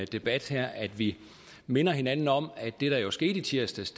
debat her at vi minder hinanden om at det der jo skete i tirsdags